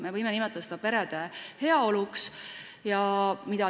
Me võime nimetada seda perede heaoluks.